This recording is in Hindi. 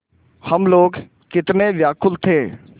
हम लोग कितने व्याकुल थे